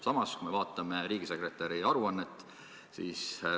Samas, vaatame riigisekretäri aruannet.